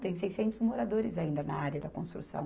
Tem seiscentos moradores ainda na área da construção.